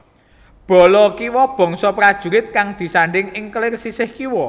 Bala kiwa bangsa prajurit kang disandhing ing kelir sisih kiwa